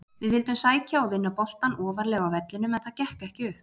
Við vildum sækja og vinna boltann ofarlega á vellinum en það gekk ekki upp.